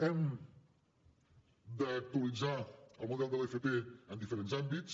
hem d’actualitzar el model de l’fp en diferents àmbits